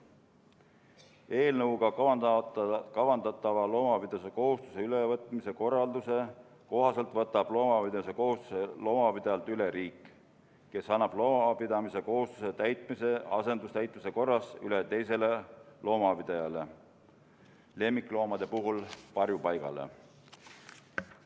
Eelnõuga kavandatava loomapidamise kohustuse ülevõtmise korralduse kohaselt võtab loomapidamise kohustuse loomapidajalt üle riik, kes annab loomapidamise kohustuse täitmise asendustäitmise korras üle teisele loomapidajale, lemmikloomade puhul varjupaigale.